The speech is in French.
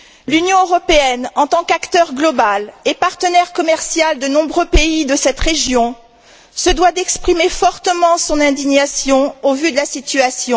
L'Union européenne, en tant qu'acteur global et partenaire commercial de nombreux pays de cette région, se doit d'exprimer fortement son indignation au vu de la situation.